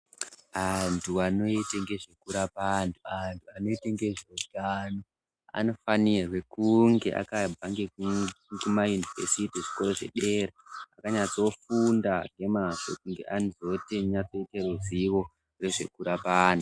Antu anoite ngezvekurapa antu, antu anoite nezveutano anofanirwe kunge akabva nekumayunivhesiti, kuzvikoro zvedera akanyatsofunda nemazvo kunge aneruzivo rwezvekurapa antu.